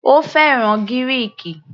Ó fẹ́ràn Gíríìkì.